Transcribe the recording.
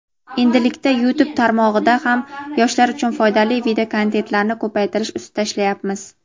endilikda YouTube tarmog‘ida ham yoshlar uchun foydali videokontentlarni ko‘paytirish ustida ishlayapmiz.